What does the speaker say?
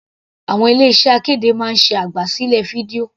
Àwọn ilé iṣẹ́ akéde máa ń ṣe àgbà sílẹ̀ fídíò.